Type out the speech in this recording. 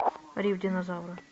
рев динозавра